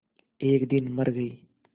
एक दिन मर गई